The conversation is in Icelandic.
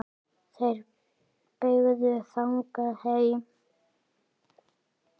Þeir beygðu þangað heim.